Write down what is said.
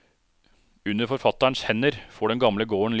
Under forfatterens hender får den gamle gården liv.